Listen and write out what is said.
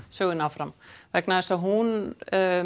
sögunni áfram vegna þess að hún